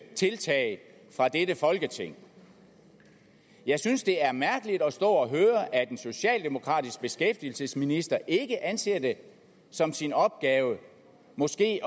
tiltag fra dette folketing jeg synes det er mærkeligt at stå og høre at en socialdemokratisk beskæftigelsesminister ikke anser det som sin opgave måske